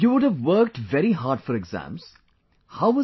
You would have worked very hard for exams, how was